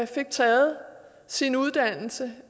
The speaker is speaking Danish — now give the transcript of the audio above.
fik taget sin uddannelse